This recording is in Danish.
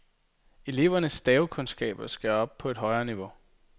Elevernes stavekundskaber skal op på et højere niveau.